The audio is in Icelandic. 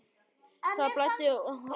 Það blæddi úr honum á hundrað stöðum.